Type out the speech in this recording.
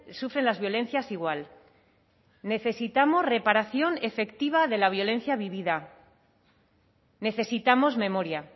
sufren las violencias igual necesitamos reparación efectiva de la violencia vivida necesitamos memoria